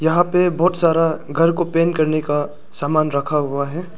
यहां पे बहोत सारा घर को पेन करने का सामान रखा हुआ है।